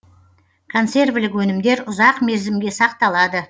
консервілік өнімдер ұзақ мерзімге сақталады